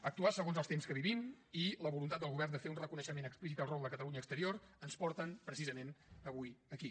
actuar segons els temps que vivim i la voluntat del govern de fer un reconeixement explícit del rol de catalunya exterior ens porten precisament avui aquí